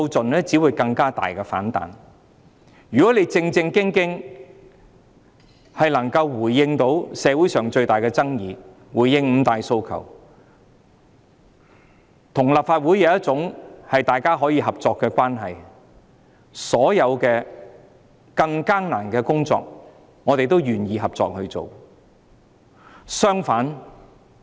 如果政府能夠正正經經回應社會上最大的爭議、回應五大訴求，與立法會建立合作關係，所有更艱難的工作，我們也願意合作。